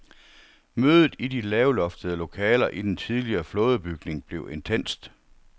Mødet i de lavloftede lokaler i den tidligere flådebygning bliver intenst.